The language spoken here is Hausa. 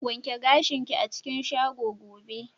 Wanke gashin ki a cikin shago gobe!